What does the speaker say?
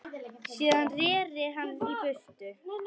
Síðan reri hann í burtu.